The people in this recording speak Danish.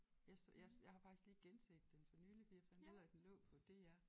Jeg jeg jeg har faktisk lige genset den for nylig fordi jeg fandt ud af at den lå på DR